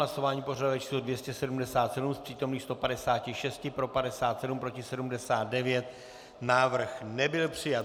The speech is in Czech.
Hlasování pořadové číslo 277, z přítomných 156 pro 57, proti 79, návrh nebyl přijat.